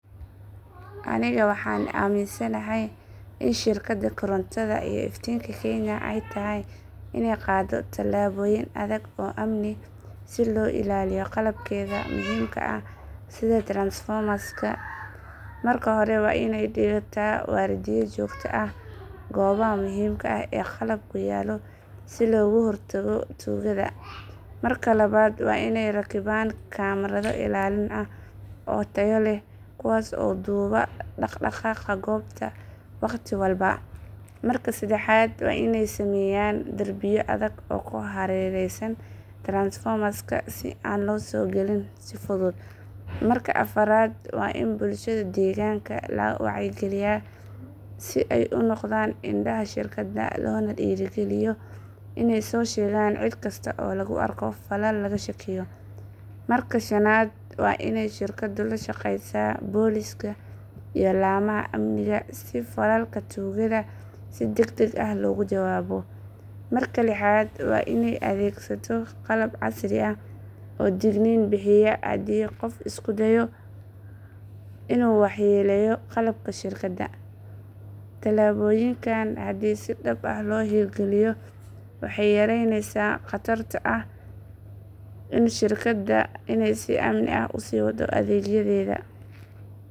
Anika waxan aminsanahaya in sheeragada korontotha iyo iftinga keenya ayatahay Ina qadoh tolabo yeen adag oo amni si lo ilaliyoh qalabkeetha setha transformer ka ah ,marka hori wa Ina dayada wardiyaa jokta aah koobaha muhim ka ee qalab kuyaloh si logu hortagoh tuugatha, marka lawat wa Ina ragikiban camera oo Taya leeh kuwaso dubahbdaqdaqaga kboah waqdi walba, marka dadaxat wa Ina sameeyan darbiya adeeg oo kuharareyskan transformer ka an lo sokalin si futhut, marka afaarat wa Ina bulshada deganga aykaliyan si ay u noqdan sheergada lona deerikaliyoh inay sosheekan ceedkasto oo lagu arkoh qoof falal lakashakeeyoh marka shananat wa in sheergada la sheeqeysah booliska iyo lamaha amnika si falalkga tugatha si dagdag lagu jawaboh, marka lexaat wa inay adegsadoh qalab casri oo degnin handi qoof iskudeeoh inu waxyeeleyoh qalabka sheergadah tilaboyinka handi si sax ah lo heergaliyoh waxayareyneysah in qatarta in sheerigadah inay si amni aah usiwadoh adegyadeyda.